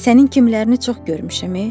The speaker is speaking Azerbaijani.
Sənin kimlərini çox görmüşəm, ey!